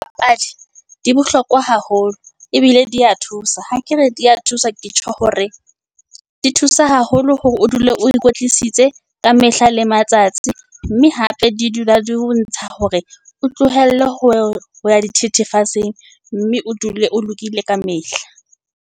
Dipapadi di bohlokwa haholo ebile di ya thusa, ha ke re di ya thusa ke tjho hore di thusa haholo hore o dule o ikwetlisitse ka mehla le matsatsi. Mme hape di dula di o ntsha hore, o tlohelle ho ya dithethefatsing, mme o dule o lokile kamehla.